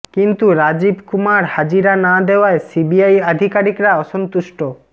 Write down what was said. কিন্তু রাজীব কুমার হাজিরা না দেওয়ায় সিবিআই আধিকারিকরা অসন্তুষ্ট